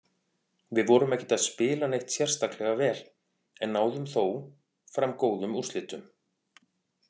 Við vorum ekkert að spila neitt sérstaklega vel, en náðum þó fram góðum úrslitum.